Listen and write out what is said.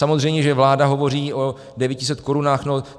Samozřejmě že vláda hovoří o 900 korunách.